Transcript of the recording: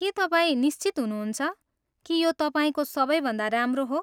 के तपाईँ निश्चित हुनुहुन्छ, कि यो तपाईँको सबैभन्दा राम्रो हो?